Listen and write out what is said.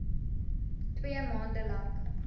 twee maande lank